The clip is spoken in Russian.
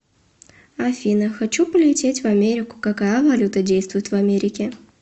афина хочу полететь в америку какая валюта действует в америке